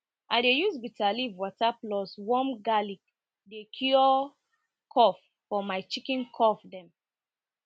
i dey use bitter leaf water plus warm garlic dey cure cough for my chicken cough dem